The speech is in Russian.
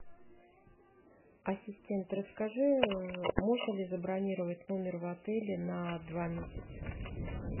ассистент расскажи можно ли забронировать номер в отеле на два месяца